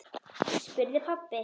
spurði pabbi.